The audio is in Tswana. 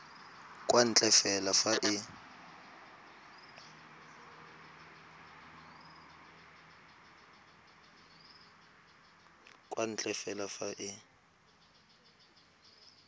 kwa ntle fela fa e